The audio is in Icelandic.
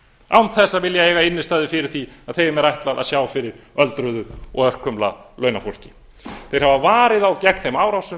án þess að vilja eiga innstæðu fyrir því að þeim er ætlað að sjá fyrir öldruðu og örkumla launafólki þeir hafa varið þá gegn þeim árásum